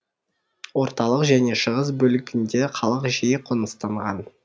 орталық және шығыс бөлігінде халық жиі қоныстанған